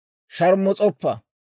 «Sharmus'oppa.